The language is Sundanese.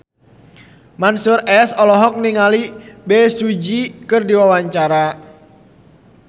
Mansyur S olohok ningali Bae Su Ji keur diwawancara